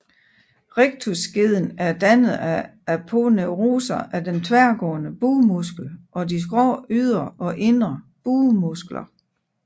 Rectusskeden er dannet af aponeuroser af den tværgående bugmuskel og de skrå ydre og indre bugmuskler